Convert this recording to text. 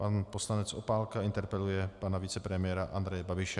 Pan poslanec Opálka interpeluje pana vicepremiéra Andreje Babiše.